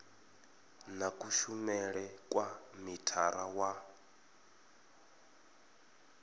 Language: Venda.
na kushumele kwa mithara wa